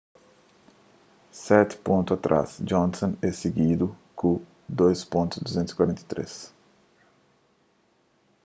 seti pontu pa trás johnson é sigundu ku 2.243